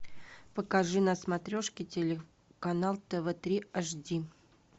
покажи на смотрешке телеканал тв три аш ди